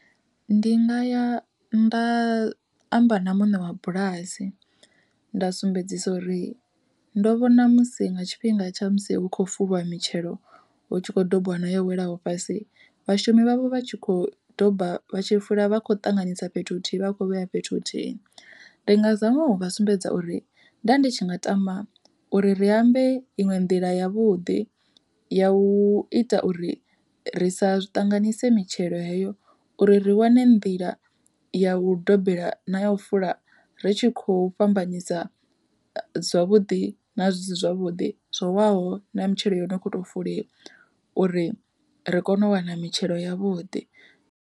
Ndi nga ya nda amba na muṋe wa bulasi, nda sumbedzisa uri ndo vhona musi nga tshifhinga tsha musi hu khou fuliwa mitshelo hutshi kho dobiwa nayo welaho fhasi, vhashumi vhavho vha tshi kho doba vhatshi fula vha khou ṱanganisa fhethu huthihi vha kho vheya fhethu huthihi. Ndi nga zama uvha sumbedza uri nda ndi tshi nga tama uri ri ambe iṅwe nḓila yavhuḓi, ya u ita uri ri sa zwi tanganyise mitshelo heyo uri ri wane nḓila ya u dobela na ya u fula ri tshi khou fhambanyisa zwavhuḓi na zwisi zwavhuḓi zwo waho na mitshelo yono kho to fuliwa uri ri kone u wana mitshelo yavhuḓi.